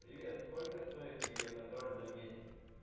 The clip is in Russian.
привет сколько стоит видеоконтроль за месяц